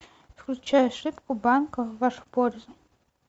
включай ошибка банка в вашу пользу